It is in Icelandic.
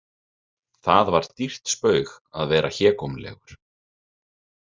Það var dýrt spaug að vera hégómlegur.